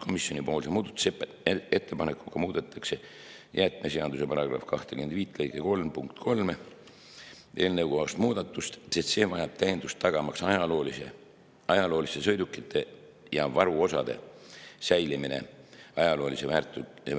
Komisjoni muudatusettepanekuga muudetakse jäätmeseaduse § 25 lõike 3 punkti 3 eelnõukohast muudatust, sest see vajab täiendust tagamaks ajalooliste sõidukite ja ajaloolise väärtusega sõidukite